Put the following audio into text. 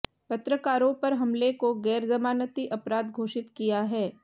पत्रकारों पर हमले को गैरजमानती अपराध घोषित किया है